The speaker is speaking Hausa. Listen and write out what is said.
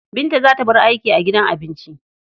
Binta za ta bar aiki a gidan abinci.